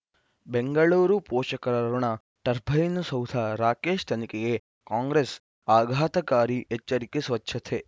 ಬೆಂಗಳೂರು ಪೋಷಕರಋಣ ಟರ್ಬೈನು ಸೌಧ ರಾಕೇಶ್ ತನಿಖೆಗೆ ಕಾಂಗ್ರೆಸ್ ಆಘಾತಕಾರಿ ಎಚ್ಚರಿಕೆ ಸ್ವಚ್ಛತೆ